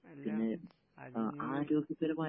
എല്ലാം....